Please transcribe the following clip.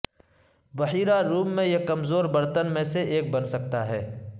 بحیرہ روم میں یہ کمزور برتن میں سے ایک بن سکتا ہے